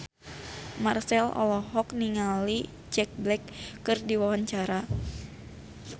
Marchell olohok ningali Jack Black keur diwawancara